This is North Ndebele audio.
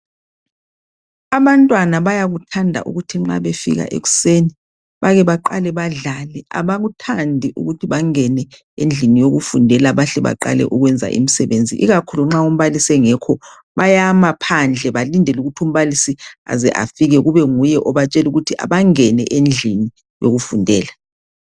Abantwana bayakuthanda ukuthi nxa befika ekuseni bake baqale bedlale. Abakuthandi ukuthi bangene endlini yokufundela bahle baqale ukwenza imisebenzi ikakhulu nxa umbalisi engekho bayama phandle balindele ukuthi umbalisi aze afike obanguye obatshela ukuthi abangene endlini yokufundela .